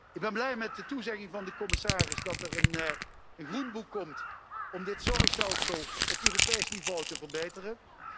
Ik ben blij met de toezegging van de commissaris dat er een groenboek komt om het zorgstelsel op Europees niveau te verbeteren.